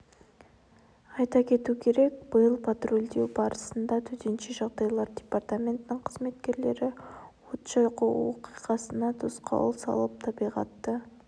айта кету керек биыл патрульдеу барысында төтенше жағдайлар департаментінің қызметкерлері от жағу оқиғасына тосқауыл салып табиғатты